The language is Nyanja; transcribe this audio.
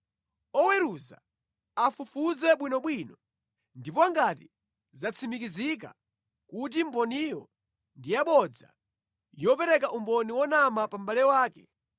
Oweruza afufuze bwinobwino, ndipo ngati zatsimikizika kuti mboniyo ndi yabodza, yopereka umboni wonama pa mʼbale wake,